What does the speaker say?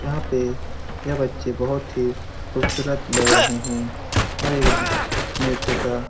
यहाँ पे यह बच्चे बहुत ही खूबसूरत लग रहे हैं और एक डा नेत्र का --